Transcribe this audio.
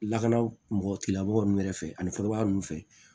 Lakana mɔgɔ tigilamɔgɔ ninnu yɛrɛ fɛ ani kɔrɔbaya ninnu fɛ